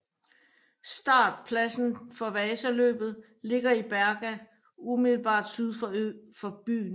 Startpladsen for Vasaløbet ligger i Berga umiddelbart syd for byen